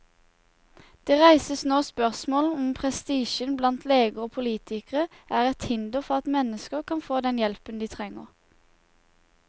Det reises nå spørsmål om prestisjen blant leger og politikere er et hinder for at mennesker kan få den hjelpen de trenger.